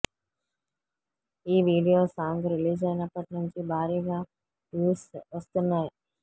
ఈ video song రిలీజైనప్పటి నుంచి భారీగా వ్యూస్ వస్తున్నాయి